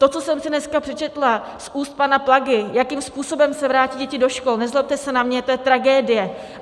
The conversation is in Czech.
To, co jsem si dneska přečetla z úst pana Plagy, jakým způsobem se vrátí děti do škol, nezlobte se na mě, to je tragédie.